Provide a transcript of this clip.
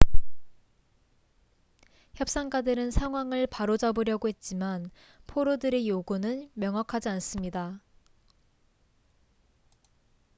협상가들은 상황을 바로잡으려고 했지만 포로들의 요구는 명확하지 않습니다